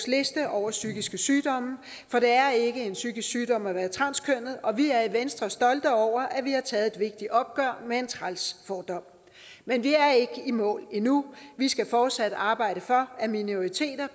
liste over psykiske sygdomme for det er ikke en psykisk sygdom at være transkønnet og vi er i venstre stolte over at vi har taget et vigtigt opgør med en træls fordom men vi er ikke i mål endnu vi skal fortsat arbejde for at minoriteter